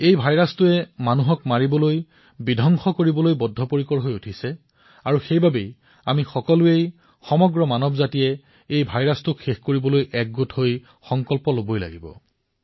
এই ভাইৰাছে মানৱক মৃত্যু মুখত পেলাই তেওঁলোকক সমাপ্ত কৰাৰ বাবে জেদী হৈ উছিছে আৰু সেইবাবে প্ৰত্যেকে সমগ্ৰ মানৱ জাতিয়ে এই ভাইৰাছক নিঃশেষ কৰাৰ বাবে ঐক্যৱদ্ধবাৱে সংকল্প গ্ৰহণ কৰিব লাগিহ